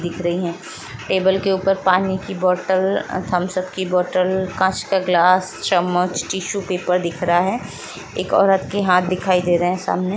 दिख रही हैं। टेबल के ऊपर पानी की बोटल थम्स अप की बोटल कांच का गिलास चम्मच टिशु पेपर दिख रहा है। एक औरत के हाथ दिखाई दे रहे सामने।